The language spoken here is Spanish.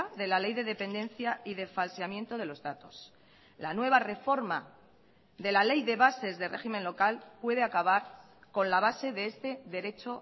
de la ley de dependencia y de falseamiento de los datos la nueva reforma de la ley de bases de régimen local puede acabar con la base de este derecho